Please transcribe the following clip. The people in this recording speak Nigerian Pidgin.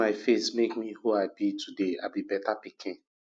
my face make me who i be today i be beta pikin